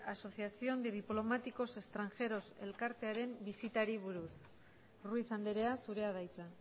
asociación de diplomáticos extranjeros elkartearen bisitari buruz ruiz andrea zurea da hitza